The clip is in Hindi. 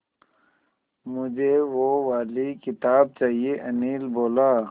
मुझे वो वाली किताब चाहिए अनिल बोला